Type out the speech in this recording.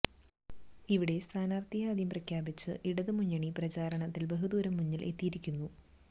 ഇവിടെ സ്ഥാനാർത്ഥിയെ ആദ്യം പ്രഖ്യാപിച്ച് ഇടതുമുന്നണി പ്രചാരണത്തിൽ ബഹുദൂരം മുന്നിൽ എത്തിയിരുന്നു